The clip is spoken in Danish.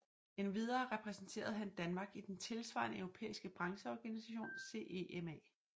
Endvidere repræsenterede han Danmark i den tilsvarende europæiske brancheorganisation CEMA